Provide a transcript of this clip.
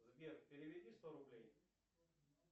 сбер переведи сто рублей